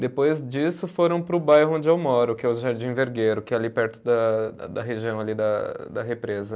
Depois disso foram para o bairro onde eu moro, que é o Jardim Vergueiro, que é ali perto da da região ali da da represa.